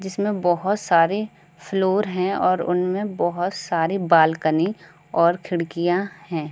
जिसमें बोहोत सारे फ्लोर हैं और उनमें बोहोत सारी बालकनी और खिड़कियाँ हैं।